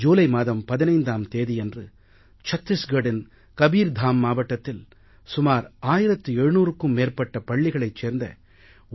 ஜூலை மாதம் 15ஆம் தேதியன்று சத்தீஸ்கட்டின் கபீர்தாம் மாவட்டத்தில் சுமார் 1700க்கும் மேற்பட்ட பள்ளிகளைச் சேர்ந்த 1